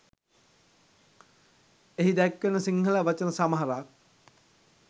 එහි දැක්වෙන සිංහල වචන සමහරක්